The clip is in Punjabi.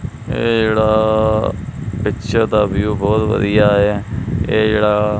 ਜਿਹੜਾ ਵਿਚ ਦਾ ਵਿਊ ਬਹੁਤ ਵਧੀਆ ਇਹ ਜਿਹੜਾ--